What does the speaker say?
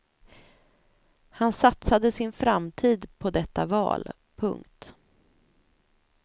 Han satsade sin framtid på detta val. punkt